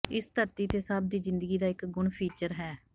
ਇਸ ਧਰਤੀ ਤੇ ਸਭ ਦੀ ਜ਼ਿੰਦਗੀ ਦਾ ਇੱਕ ਗੁਣ ਫੀਚਰ ਹੈ